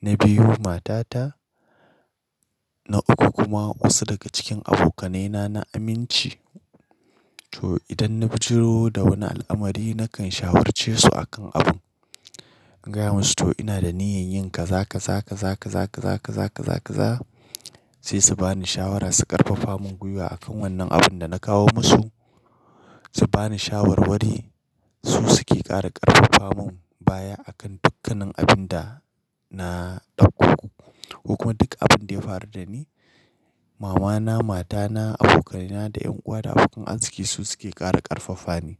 na biyu matata, na uku kuma wasu daga cikin abokanaina na aminci. To idan na fito da wani al'amari nakan shawarce su akan abun, in gaya musu to ina da niyyan yin kaza, kaza, kaza, kaza, kaza, kaza, kaza, kaza sai su bani shawara su ƙarfafa mun gwiwa akan wannan abun da na kawo musu. Su bani shawarwari, su suke ƙara ƙarfafa mun baya akan dukkannin abin da na ɗauko ko kuma duk abin da ya faru dani. Mamana, matana, abokaina da ƴan uwa da abokan arziki su suke ƙara ƙarfafa ni.